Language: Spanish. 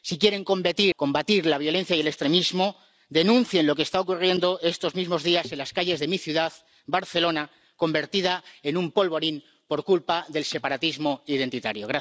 Si quieren combatir la violencia y el extremismo, denuncien lo que está ocurriendo estos mismos días en las calles de mi ciudad, Barcelona, convertida en un polvorín por culpa del separatismo identitario.